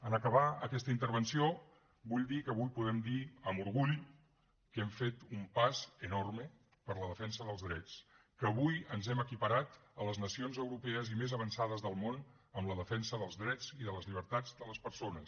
en acabar aquesta intervenció vull dir que avui podem dir amb orgull que hem fet un pas enorme per la defensa dels drets que avui ens hem equiparat a les nacions europees i més avançades del món en la defensa dels drets i de les llibertats de les persones